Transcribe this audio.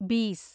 ബീസ്